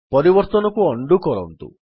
ପରିବର୍ତ୍ତନକୁ ଉଣ୍ଡୋ କରନ୍ତୁ